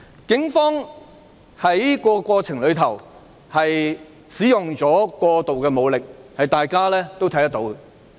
警方在過程中使用過度武力，這是大家有目共睹的。